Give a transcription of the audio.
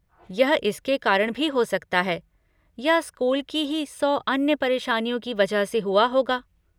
यह इसके कारण भी हो सकता है या स्कूल की ही सौ अन्य परेशानियों की वजह से हुआ होगा।